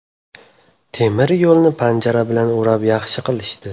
Temiryo‘lni panjara bilan o‘rab yaxshi qilishdi.